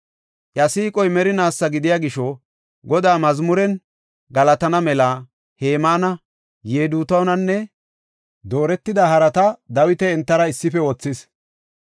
Iya siiqoy merinaasa gidiya gisho Godaa mazmuren galatana mela Hemaana, Yedutuunanne dooretida harata Dawiti entara issife wothis.